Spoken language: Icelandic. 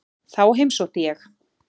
Þá heimsótti ég